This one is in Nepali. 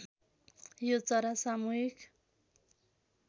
यो चरा सामूहिक